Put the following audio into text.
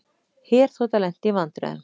Herþota lenti í vandræðum